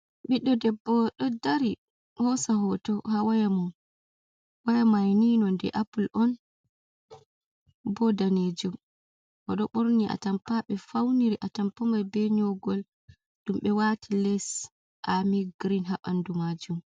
Ɓiddo debbo ɗo dari hosa hoto ha waya mun waya maini nonde apple on bo danejum oɗo borni a tampa ɓe fauniri a tampamai be nyogol ɗum ɓe wati les ami green ha ɓandu majum.